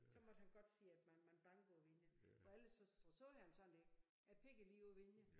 Så måtte han godt sige at man man banke på vinduet for ellers så så sagde han sådan det jeg pegge lige på vinduet